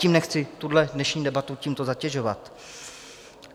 Tím nechci tuhle dnešní debatu tímto zatěžovat.